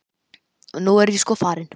Og nú er ég sko farin.